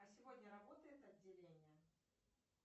а сегодня работает отделение